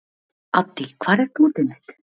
Addý, hvar er dótið mitt?